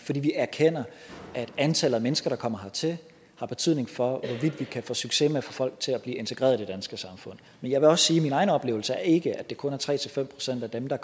fordi vi erkender at antallet af mennesker der kommer hertil har betydning for hvorvidt vi kan få succes med at få folk til at blive integreret i det danske samfund men jeg vil også sige at mine egne oplevelser ikke er at det kun er tre fem procent af dem der